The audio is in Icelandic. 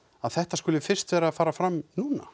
þetta skuli fyrst vera að fara fram núna